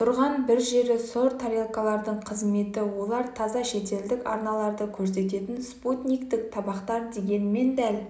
тұрған бір жері сұр тарелкалардың қызметі олар таза шетелдік арналарды көрсететін спутниктік табақтар дегенмен дәл